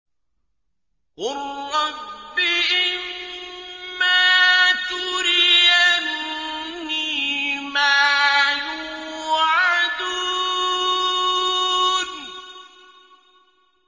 قُل رَّبِّ إِمَّا تُرِيَنِّي مَا يُوعَدُونَ